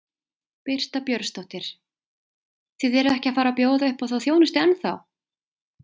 Birta Björnsdóttir: Þið eruð ekki að fara að bjóða upp á þá þjónustu ennþá?